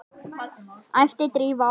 æpti Drífa á hana.